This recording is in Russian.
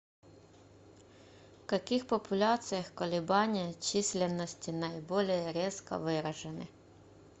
в каких популяциях колебания численности наиболее резко выражены